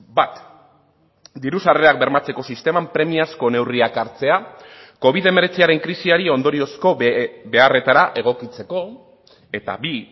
bat diru sarrerak bermatzeko sisteman premiazko neurriak hartzea covid hemeretziren krisiari ondoriozko beharretara egokitzeko eta bi